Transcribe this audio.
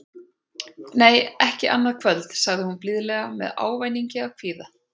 Nei, ekki annað kvöld, sagði hún blíðlega með ávæningi af kvíða.